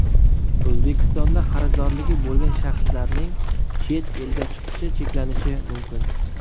O‘zbekistonda qarzdorligi bo‘lgan shaxslarning chet elga chiqishi cheklanishi mumkin.